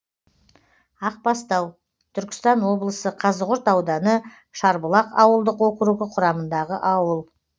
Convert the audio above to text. ақбастау түркістан облысы қазығұрт ауданы шарбұлақ ауылдық округі құрамындағы ауыл